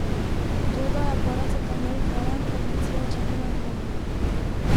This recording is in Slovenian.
V to, da je paracetamol varen, farmacija očitno ne dvomi.